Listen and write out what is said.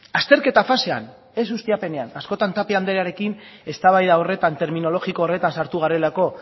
azterketa fasean ez ustiapenean askotan tapia andrearekin eztabaida horretan terminologiko horretan sartu garelako